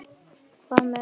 Hvað með rósir?